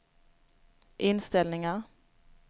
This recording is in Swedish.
inställningar